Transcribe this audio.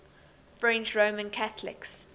french roman catholics